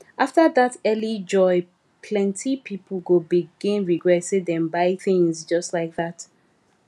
after that early joy plenty people go begin regret say dem buy things just like that